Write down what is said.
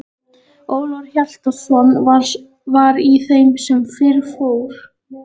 Ólafur Hjaltason var í þeim sem fyrr fór.